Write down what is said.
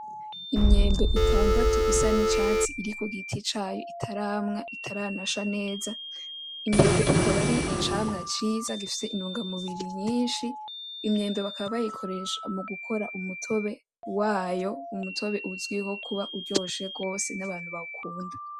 Imyembe itandatu isa n'icatsi iri ku giti cayo itarama itaranasha neza. Imyembe akaba ari icamwa ciza gifise intungamubiri nyinshi. Imyembe bakaba bayikoresha mu gukora umutobe wayo, umutobe uzwiho kuba uryoshe rwose n'abantu bawukunda.